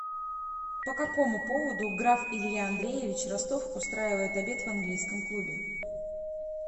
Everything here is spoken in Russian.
по какому поводу граф илья андреевич ростов устраивает обед в английском клубе